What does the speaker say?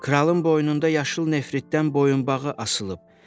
Kralın boynunda yaşıl nefritdən boyunbağı asılıb.